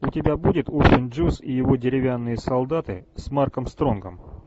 у тебя будет урфин джюс и его деревянные солдаты с марком стронгом